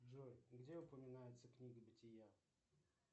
джой где упоминается книга бытия